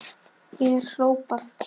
er hrópað.